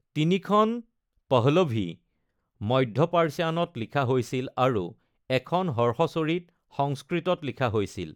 তিনিখন পহলভি (মধ্য পাৰ্চীয়ান)ত লিখা হৈছিল আৰু এখন হৰ্ষচৰিত সংস্কৃতত লিখা হৈছিল।